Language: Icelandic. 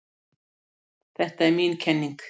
Þetta er mín kenning.